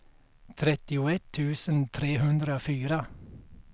trettioett tusen trehundrafyra